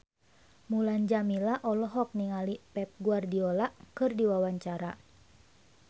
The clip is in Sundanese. Mulan Jameela olohok ningali Pep Guardiola keur diwawancara